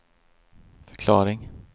förklaring